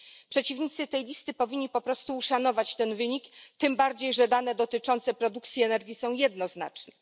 Przeciwnicy tej listy powinni po prostu uszanować ten wynik, tym bardziej że dane dotyczące produkcji energii są jednoznaczne.